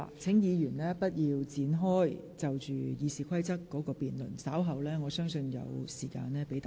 請議員現在不要就修訂《議事規則》展開辯論，稍後會有時間讓各位就此發言。